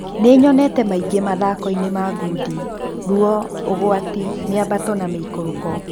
Nĩnyonete maingĩ mathakonĩ ma ngundi: ruo, ũgwati, mĩabato na mĩikũruko.